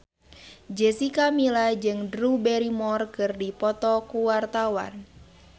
Jessica Milla jeung Drew Barrymore keur dipoto ku wartawan